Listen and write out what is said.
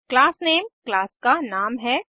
class name class का नाम है